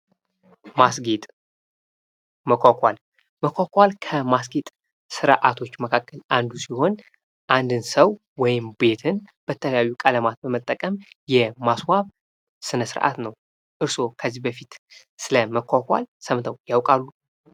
ማስጌጥ ፣ መኳኳል መኳኳል ከማስጌጥ ስርአቶች መካከል አንዱ ሲሆን አንድን ሰው ወይም ቤትን በተለያዩ ቀለማት በመጠቀም የማስዋብ ስነ-ስርአት ነው። እርስዎ ከዚህ በፊት ስለመኳኳል ሰምተው ያውቃሉ?